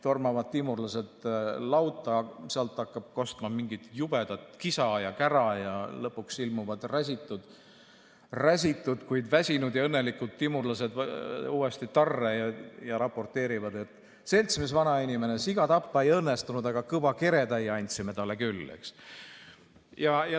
" Tormavad timurlased lauta, sealt hakkab kostma mingit jubedat kisa ja kära ja lõpuks ilmuvad räsitud, kuid väsinud ja õnnelikud timurlased uuesti tarre ja raporteerivad: "Seltsimees vanainimene, siga tappa ei õnnestunud, aga kõva keretäie andsime talle küll.